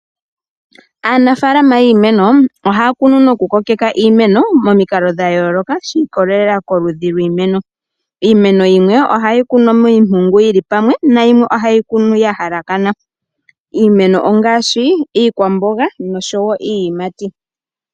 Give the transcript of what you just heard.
Aanafaalama yiimeno ohaya kunu nokukokeka iimeno momikalo dha yooloka shi ikolelela koludhi lwiimeno. Iimeno yimwe ohayi kunwa miimpungu yili pamwe noyimwe ohayi kunwa ya halakana. Iimeno ongaashi iikwamboga nosho wo iiyimati.